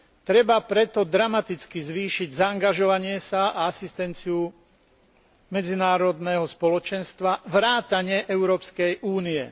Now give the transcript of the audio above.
Treba preto dramaticky zvýšiť zaangažovanie sa a asistenciu medzinárodného spoločenstva vrátane Európskej únie.